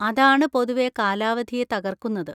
അതാണ് പൊതുവെ കാലാവധിയെ തകർക്കുന്നത്.